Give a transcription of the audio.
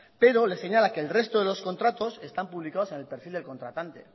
pero le señala que el resto de los contratos están publicados en el perfil del contratante